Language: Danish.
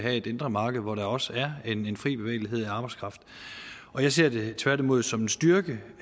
have et indre marked hvor der også er en en fri bevægelighed for arbejdskraften jeg ser det tværtimod som en styrke